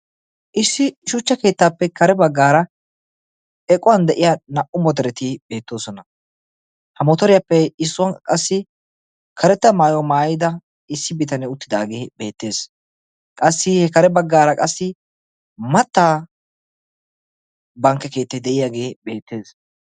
issi shuchcha keettaappe kare baggaara equwan de'iya naa"u motoreti beettoosona. ha motoriyaappe issuwan qassi karetta maayuwa maayida issi bitanee uttidaagee beettees. qassi he kare baggaara qassi mattaa bankke keettay de'iyaagee beettees.